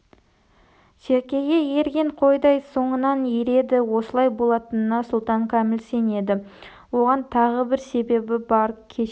серкеге ерген қойдай соңынан ереді осылай болатынына сұлтан кәміл сенеді оған тағы бір себебі бар кеше